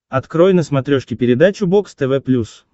открой на смотрешке передачу бокс тв плюс